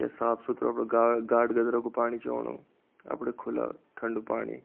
ये साफ़ सुथ्रू अपड़ा गा गाड गदेरा कु पाणी च ओणु अपड़ी खुला ठण्डु पाणी।